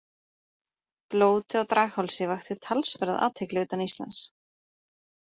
Blótið á Draghálsi vakti talsverða athygli utan Íslands.